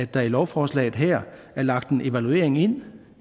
der i lovforslaget her er lagt en evaluering ind